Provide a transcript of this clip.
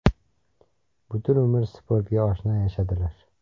Butun umr sportga oshno yashadilar.